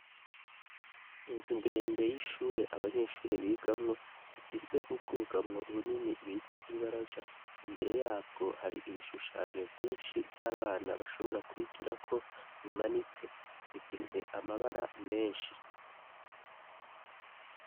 inzu ndende y'ishure abanyeshure bigamwo ifise ubwugamwo bunini bita ibaraza imbere yabwo hari ibishushanyo vyinshi vy'abana bashobora kwigira ko bimanitse bifise amabara menshi